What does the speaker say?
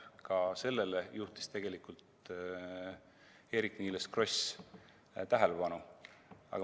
Ka sellele juhtis tegelikult Eerik-Niiles Kross tähelepanu.